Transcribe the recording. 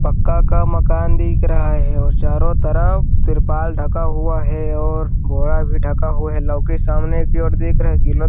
पक्का का मकान दिख रहा है और चारों तरफ त्रिपाल ढका हुआ है और बोरा भी ढका हुआ है लोग की सामने की ओर देख रहे हैं की लोक --